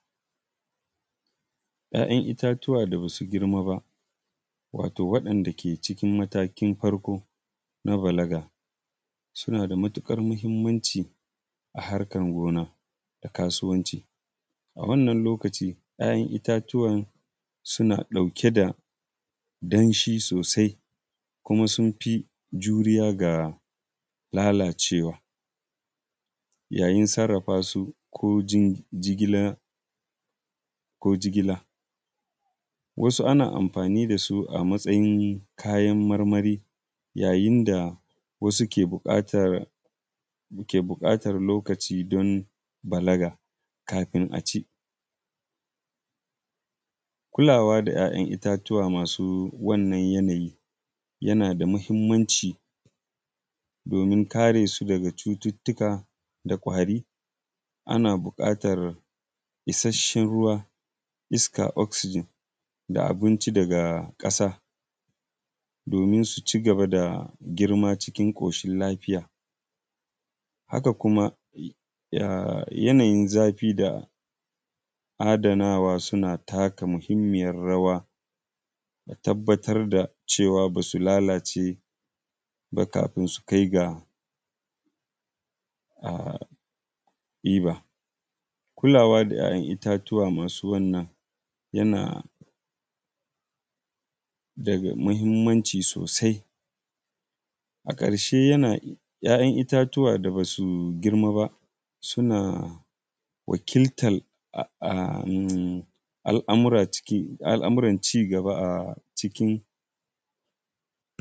‘Ya’yan itatuwa da ba su girma ba, wato waɗanda ke cikin matakin farko na balaga suna da matuƙar muhimmanci a harkar gona da kasuwanci, a wannan lokaci ‘ya’yan itatuwan suna ɗauke da danshi sosai, kuma sun fi juriya ga lalacewa yayin sarrafa, su ko jigila wasu ana amfani da su a matsayin kayan marmari yayin da wasu ke buƙatar lokaci don balaga kafin a ci. Kulawa da ‘ya’yan itatuwa a wannan yanayi yana da muhimmanci domin kare su daga cututtuka da kwari, ana buƙatar isasshen ruwa, iska oxygen da abinci daga ƙasa domin su cigaba da girma cikin ƙoshin lafiya, haka kuma yanayin zafi da adanawa suna taka muhimmiyan rawa da tabbatar da cewa ba su lalace ba kafin su kai ga ɗiba. Kulawa da ‘ya’yan itatuwa masu wannan yana da muhimmanci sosai. A ƙarshe ‘ya’yan itatuwa da ba su girma ba suna wakiltan al’amuran cigaba.